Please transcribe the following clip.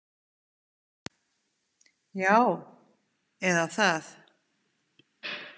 Já, eða það